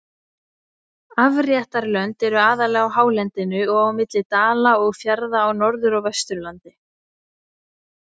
Afréttarlönd eru aðallega á hálendinu og á milli dala og fjarða á Norður- og Vesturlandi.